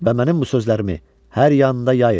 Və mənim bu sözlərimi hər yanda yayın.